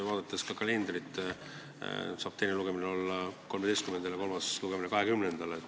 Vaadates kalendrit, on selge, et teine lugemine saab olla 13-ndal ja kolmas lugemine 20-ndal.